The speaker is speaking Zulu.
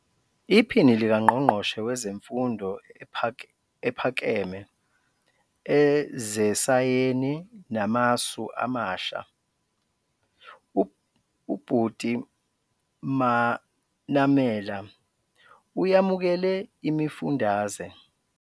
IPhini likaNgqongqoshe Wezemfundo Ephakeme, Ezesayeni Namasu Amasha, uButi Manamela, uyamukele imifundaze.